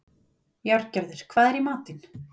Járngerður, hvað er í matinn?